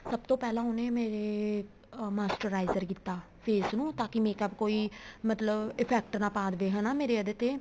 ਸਭ ਤੋਂ ਪਹਿਲਾਂ ਉਹਨੇ ਮੇਰੇ moisturizer ਕੀਤਾ face ਨੂੰ ਤਾਂਕੀ makeup ਕੋਈ ਮਤਲਬ effect ਨਾ ਪਾਹ ਦੇਵੇ ਹੈਨਾ ਮੇਰੇ ਇਹਦੇ ਤੇ